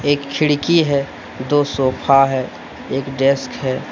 एक खिड़की है दो सोफा है एक डेस्क है।